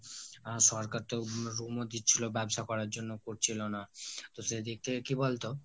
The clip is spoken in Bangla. আর সরকার তো loan ও দিচ্ছিলো ব্যবসা করার জন্য, করছিলো না, সে দিক থেকে কি বলতো?